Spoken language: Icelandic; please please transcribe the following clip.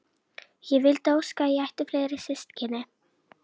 Ég vildi óska að ég ætti fleiri systkini.